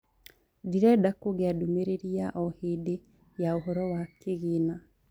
ndĩrenda kugĩa ndumĩriri ya o hĩndi yaũhoro wa kigĩna